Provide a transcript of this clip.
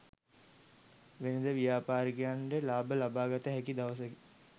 වෙළෙඳ ව්‍යාපාරිකයන්ට ලාභ ලබාගත හැකි දවසකි.